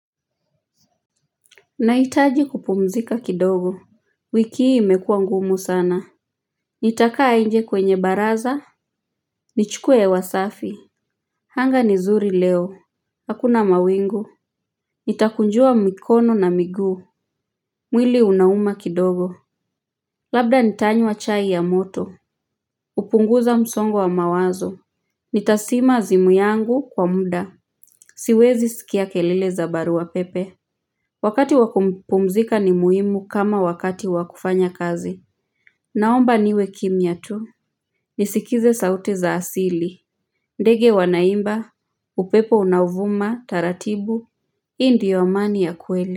Naitaji kupumzika kidogo. Wiki imekuwa ngumu sana. Nitaka nje kwenye baraza. Nichukue hewa safi anga nizuri leo. Hakuna mawingu. Nitakunjua mikono na miguu. Mwili unauma kidogo. Labda nitanywa chai ya moto. Upunguza msongo wa mawazo. Nitasima zimu yangu kwa muda. Siwezi sikia kelile za barua pepe. Wakati wakupumzika ni muhimu kama wakati wakufanya kazi. Naomba niwe kimya tu. Nisikize sauti za asili. Ndege wanaimba. Upepo unavuma taratibu. Indiyo amani ya kweli.